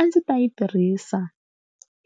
A ndzi ta yi tirhisa